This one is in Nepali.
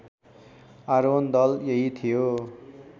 आरोहण दल यही थियो